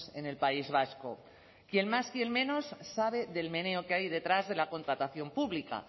en el país vasco quien más quien menos sabe del meneo que hay detrás de la contratación pública